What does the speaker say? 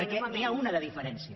perquè n’hi ha una de diferència